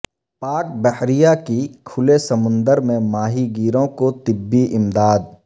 پاک بحریہ کی کھلے سمندر میں ماہی گیروں کو طبی امداد